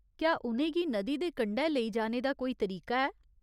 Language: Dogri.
क्या उ'नें गी नदी दे कंढै लेई जाने दा कोई तरीका ऐ ?